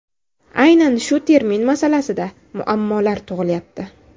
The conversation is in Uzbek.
Aynan shu termin masalasida [muammolar] tug‘ilyapti.